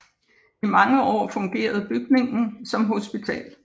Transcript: I mange år fungerede bygningen som hospital